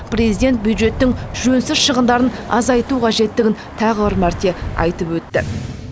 президент бюджеттің жөнсіз шығындарын азайту қажеттігін тағы бір мәрте айтып өтті